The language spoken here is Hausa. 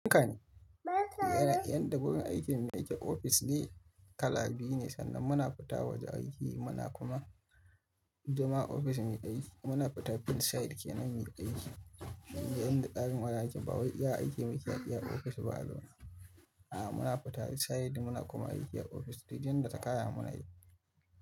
Yanka ne. Yanda wurin aikin mu yake ofis ne kala biyu ne sannan muna fita waje aiki muna kuma zama ofis muyi aiki. Muna fita field side kenan muyi aiki. Yanda ɗakin marasa aiki bawai iya aiki mai kyan iya ofis ba alama. A'a muna fita field side muna kuma aiki a ofis dai danda takaya muna yi.